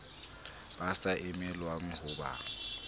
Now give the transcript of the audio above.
ba sa emelwang ho ba